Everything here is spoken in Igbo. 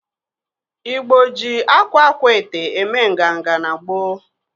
Igbo ji akwa akwaete eme nganga n'gboo.